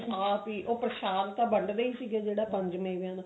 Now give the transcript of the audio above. ਆਪ ਹੀ ਉਹ ਪ੍ਰਸ਼ਾਦ ਤਾਂ ਵੰਡਦੇ ਈ ਹੀ ਸੀਗੇ ਜਿਹੜਾ ਪੰਜ ਮੇਵੇਆਂ ਦਾ